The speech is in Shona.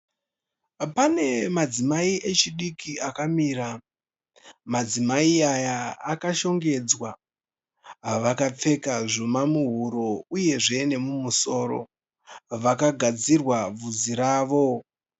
Pane madzimai echidiki akamira. Madzimai aya akashongedzwa. Vakapfeka zvuma muhuro uyezve nemumusoro. Vakagadzirwa bvudzi ravo.